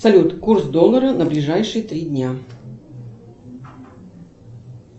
салют курс доллара на ближайшие три дня